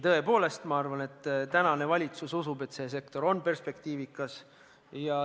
Tõepoolest, ma arvan, et praegune valitsus usub, et see sektor on perspektiivikas.